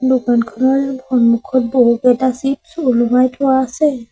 দোকানখনৰ সন্মুখত বহুকেইটা চ্চিপ্ছ ওলোমাই থোৱা আছে।